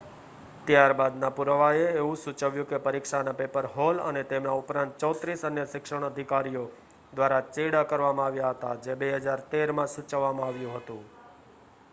ત્યાર બાદનાં પુરાવાંએ એવું સૂચવ્યું કે પરીક્ષાના પેપરમાં હૉલ અને તેમના ઉપરાંત 34 અન્ય શિક્ષણ અધિકારીઓ દ્વારા ચેડાં કરવામાં આવ્યા હતા, જે 2013 માં સૂચવવામાં આવ્યું હતું